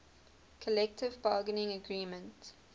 collective bargaining agreement